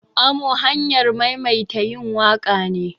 Amo hanyar maimaita yin waƙa ne.